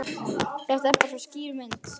Þetta er bara svo skýr mynd.